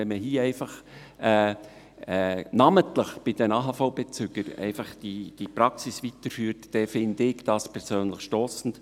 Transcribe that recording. Dass man diese Praxis hier namentlich bei den AHV-Bezügern weiterführt, empfinde ich persönlich das als stossend.